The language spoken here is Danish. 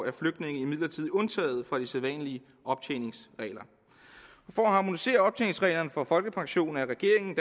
er flygtninge imidlertid undtaget fra de sædvanlige optjeningsregler for at harmonisere optjeningsreglerne for folkepension er regeringen